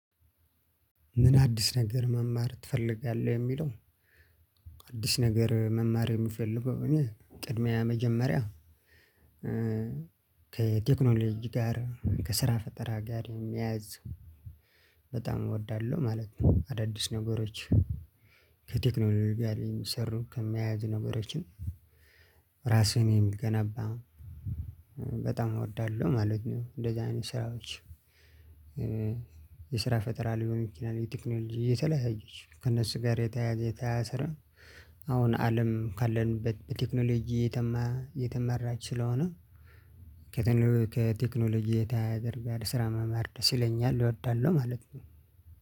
ምን አዲስ ነገር መማር ትፈልጋለህ? የሚለው አዲስ ነገር መማር የሚፈልገው እኔ ቅድሚያ መጀመሪያ ከቴክኖሎጂ ጋር ከስራ ፈጠራ ጋር የሚያያዝ በጣም እወዳለሁ ማለት ነው። አዳዲስ ነገሮች ከቴክኖሎጂ ጋር የሚሰሩ ከሚያያዙ ነገሮችን ራስህን የሚገነባ በጣም እወዳለሁ ማለት ነው። እንደዚህ አይነት ስራዎች። የስራ ፈጠራ ሊሆን ይችላል የቴክኖሎጂ እየተለያየች ከእነሱ ጋር የተያያዘ የተያያዘ ስራ። አሁን አለም ካለንበት በቴክኖሎጂ እየተመራች ስለሆነ ከቴክኖሎጂ የተያያዘ ጋር ስራ መማር ደስ ይለኛል እወዳለሁ ማለት ነው።